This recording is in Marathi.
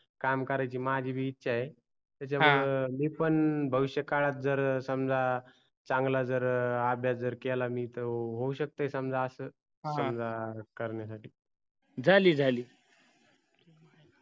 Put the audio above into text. काम करायची माझी बी इच्छा आहे त्याच्या मूळ मी पण भविष काळात जर समजा चांगला जर अभ्यास जर केला मी तर होऊ शकते समजा अस समजा help कारण्यासाठी झाली झाली